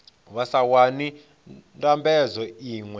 vha sa wani ndambedzo iṅwe